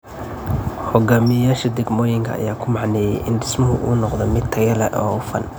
Hogaamiyayaasha degmooyinka ayaa ku macneeyay in dhismuhu uu noqdo mid tayo leh oo hufan.